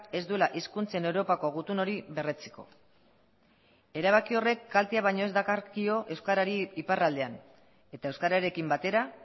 ez duela hizkuntzen europako gutun hori berretsiko erabaki horrek kaltea baino ez dakarkio euskarari iparraldean eta euskararekin batera